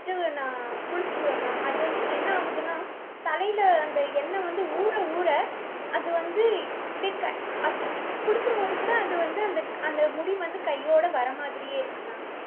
வச்சிட்டு நான் குளிச்சிருவேன் ma'am. அது வந்து என்ன ஆகுதுன்னா தலைல அந்த எண்ணெய் வந்து ஊற ஊற அது வந்து அப்டியே க~ அப்~ இப்~ குளிக்கும்போது கூட அது வந்து அந்த அந்த முடி வந்து கையோட வரமாதிரியே இருக்கு ma'am.